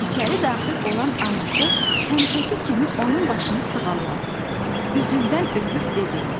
İçəri daxil olan anası həmişəki kimi onun başını sığalladı, üzündən öpüb dedi: